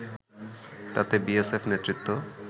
তাতে বিএসএফ নেতৃত্ব